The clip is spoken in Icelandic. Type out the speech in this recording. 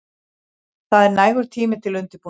Það er nægur tími til undirbúnings.